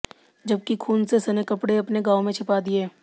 जबकि खून से सने कपड़े अपने गांव में छिपा दिए